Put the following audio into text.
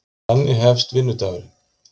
Þannig hefst vinnudagurinn.